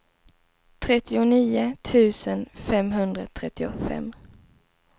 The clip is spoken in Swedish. trettionio tusen femhundratrettiofem